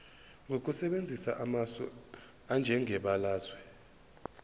ngokusebenzisa amasu anjengebalazwe